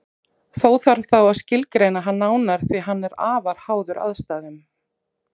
Þó þarf þá að skilgreina hann nánar því að hann er afar háður aðstæðum.